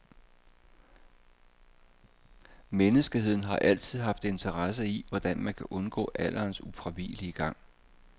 Menneskeheden har altid haft interesse i, hvordan man kan undgå alderens ufravigelige gang.